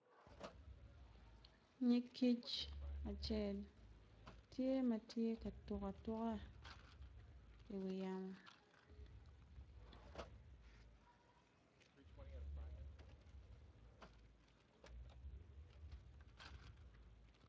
Nyig kic acel tye ma tye ka tuk cok ki wi yamo.